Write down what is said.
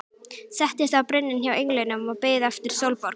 Settist á brunninn hjá englinum og beið eftir Sólborgu.